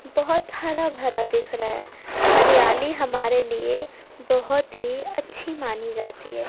बहोत हरा भरा दिख रहा है हरियाली हमारे लिए बहोत ही अच्छी मानी जाती है।